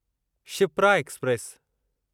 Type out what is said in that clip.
Shipra express